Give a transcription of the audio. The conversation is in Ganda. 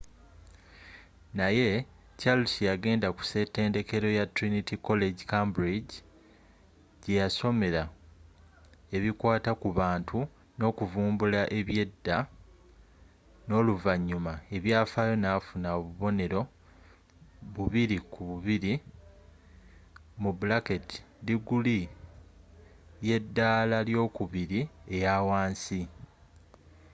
naye charles yagenda ku setendekero ya trinity college cambridge jeyasomera ebikwata ku bantu n’okuvumbula ebyada n’oluvanyuma ebyafaayo nafuna obubonero 2:2diguli y’edaala ly'okubiri eyawansi